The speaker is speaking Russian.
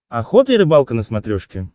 охота и рыбалка на смотрешке